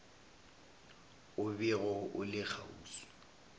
o bego o le kgauswi